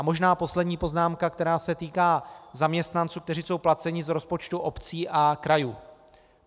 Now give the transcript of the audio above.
A možná poslední poznámka, která se týká zaměstnanců, kteří jsou placeni z rozpočtu obcí a krajů.